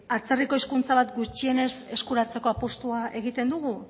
atzerriko hizkuntza bat gutxienez eskuratzeko apustua egiten dugu